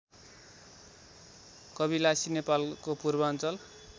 कविलासी नेपालको पूर्वाञ्चल